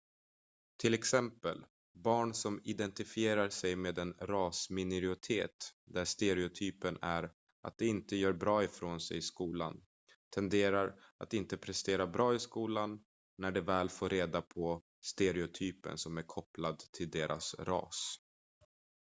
till exempel barn som identifierar sig med en rasminoritet där stereotypen är att de inte gör bra ifrån sig i skolan tenderar att inte prestera bra i skolan när de väl får reda på stereotypen som är kopplad till deras ras